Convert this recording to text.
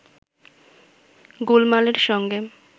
গোলমালের সঙ্গে